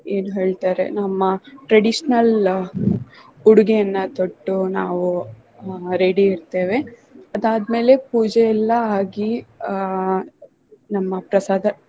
ಏನ್ ಹೇಳ್ತಾರೆ ನಮ್ಮ traditional ಉಡುಗೆಯನ್ನ ತೊಟ್ಟು ನಾವು ಆಹ್ ready ಇರ್ತೆವೆ. ಅದಾದ್ಮೆಲೆ ಪೂಜೆ ಎಲ್ಲಾ ಆಗಿ ಆಹ್ ನಮ್ಮ ಪ್ರಸಾದ